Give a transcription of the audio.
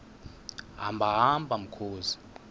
hamba hamba mkhozi